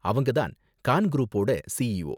அவங்க தான் கான் குரூப்போட சிஇஓ.